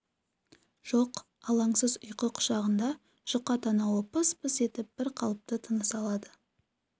жоқ алаңсыз ұйқы құшағында жұқа танауы пыс-пыс етіп бр қалыпты тыныс алады